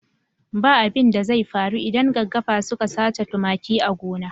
Ba abin da zai faru idan gaggafa suka sace tumaki a gona.